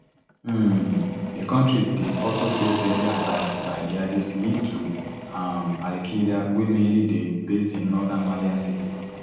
um di kontri dey also face deadly attacks by jihadists linked to um al qaeda wey mainly dey based in northern malian cities